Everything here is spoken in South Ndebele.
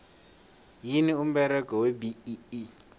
yini umberego webee